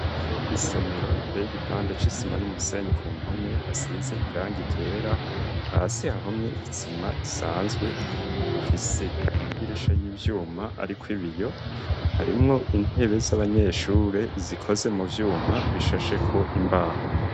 Isomero riteye igipande c'isima n'umusenyi ku mpome hasize irangi ryera hasi hahomye isima isanzwe ifise amadirisha y'ivyuma hariko ibiyo harimwo intebe z'abanyeshure zikoze mu vyuma bishasheko imbaho